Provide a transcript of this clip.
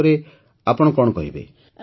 ଏହା ଉପରେ ଆପଣ କଣ କହିବେ